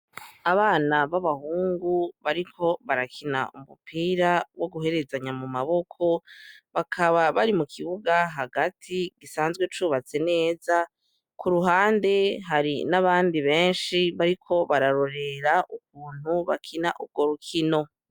Abana b'abahungu bariko barakina umupira wo guherezanya amaboko bakaba bari mu kibuga hagati gisanzwe cubatswe neza ku ruhande hari n'abandi benshi bariko bararorera ukuntu bakina urwo rukino.